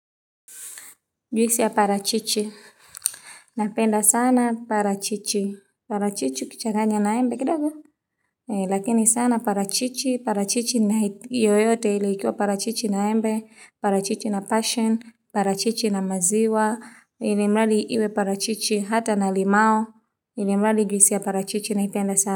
Juisi ya parachichi, napenda sana parachichi, parachichi ukichanganya na embe kidogo, lakini sana parachichi, parachichi na yoyote ili ikiwa parachichi na embe, parachichi na passion, parachichi na maziwa, ili mrali iwe parachichi hata na limao, ili mrali juisi ya parachichi naipenda sana.